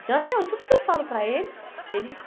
Então, até hoje, tudo que eu falo para eles, eles...